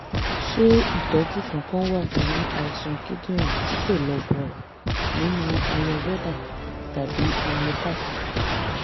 ṣé ìtọ́jú kankan wà fún àìsàn kíndìnrín tí kò lọ bọ̀rọ̀ nínú ayurveda tàbí homeopathy?